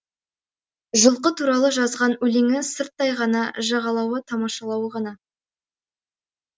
жылқы туралы жазған өлеңі сырттай ғана жағалауы тамашалауы ғана